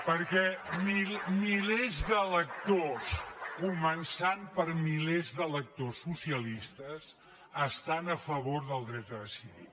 perquè milers d’electors començant per mi·lers d’electors socialistes estan a favor del dret a de·cidir